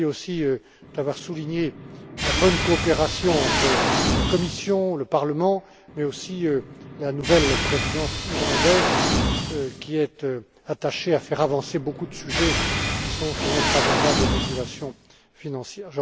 Kelly aussi, d'avoir souligné la bonne coopération entre la Commission, le Parlement, mais aussi la nouvelle Présidence irlandaise, qui est attachée à faire avancer beaucoup de sujets qui figurent sur notre agenda de régulation financière.